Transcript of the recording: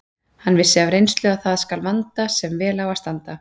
Hann vissi af reynslu að það skal vanda sem vel á að standa.